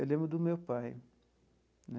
Eu lembro do meu pai né.